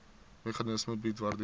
meganisme bied waardeur